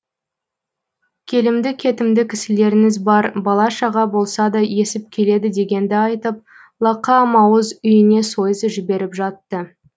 келімді кетімді кісілеріңіз бар бала шаға болса да есіп келеді дегенді айтып лақа мауыз үйіне сойыс жіберіп жатты